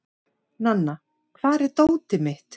Nanna, hvar er dótið mitt?